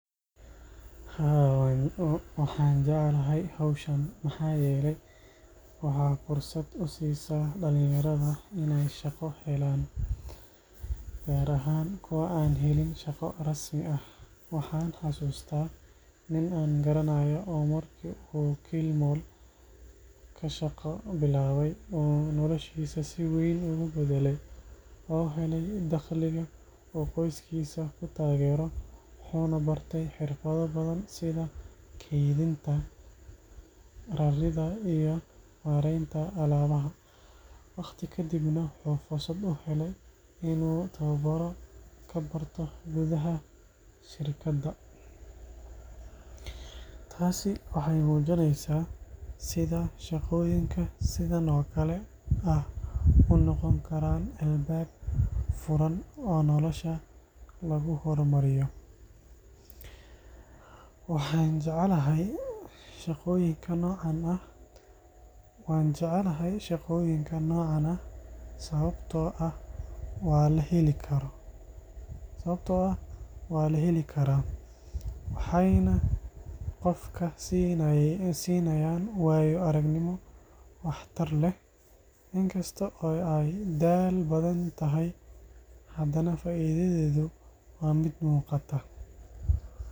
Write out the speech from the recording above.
Haa waxan jeclahay howshan maxa yele, waxa fursad usisaa dhalin yarada inay shaqo helaan gaar ahan kuwa an helin shaqa rasmi ah, waxan xasuusata nin an garanayo oo marki u kilmal kashaqa bilaabe oo noloshiisa si weyn ogu badale oo helay dhaqliga oo qoyskiisa kutaageero wuxuuna bartay xirfada badan sida keydinta, raarinta iyo mareeynta alabaha, waqti kadibna wuxuu fursad u hele inu tababaaro kabarto gudaha shirkada, taasi waxay muujineysa sida shaqooyinka sidan o kale ah unoqon karaan albab furan oo nolosha lugu horumariyo, wan jecelahay shaqooyinka nocan ah, sababto ah waa la heeli karaa waxayna qofka siinayan waayo aragnimo wax tar leh inkasto ay daal badan tahay hadana faaidadeeda waa mid muuqata